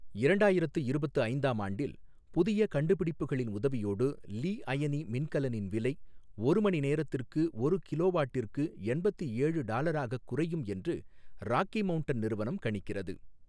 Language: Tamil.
இரண்டாயிரத்து இருபத்து ஐந்தாம் ஆண்டில் புதிய கண்டுபிடிப்புகளின் உதவியோடு லி அயனி மின்கலனின் விலை ஒரு மணி நேரத்திற்கு ஒரு கிலோவாட்டிற்கு எண்பத்து ஏழு டாலராகக் குறையும் என்று ராக்கி மவுண்டன் நிறுவனம் கணிக்கிறது.